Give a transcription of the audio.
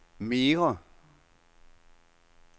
mere